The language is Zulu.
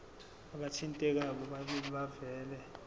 abathintekayo bobabili bavele